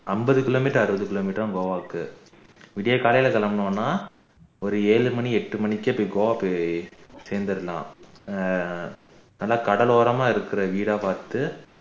ஐம்பது kilometer அறுபது kilometer தான் போக இருக்கு விடியற்காலையில கிளம்பினோம்னா ஒரு ஏழு மணி எட்டு மணிக்கே கோவா போய் சேர்ந்துரலாம் ஆஹ் நல்ல கடலோரமா இருக்குற வீடா பாத்து